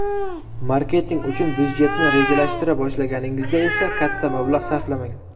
Marketing uchun byudjetni rejalashtira boshlaganingizda esa katta mablag‘ sarflamang.